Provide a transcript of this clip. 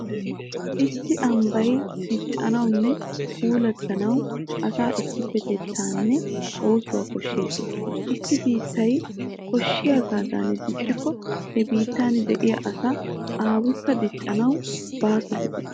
Issi ambbay diccanawunne puulattanawu asaa issippetettaanne oosuwa koshshees. Issi biittay koshshiyagaadan diccikko he biittan de'iya asaa aquwakka dichchanawu baaso gidees.